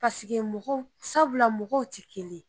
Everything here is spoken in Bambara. Paseke mɔgɔw sabula mɔgɔw tɛ kelen ye.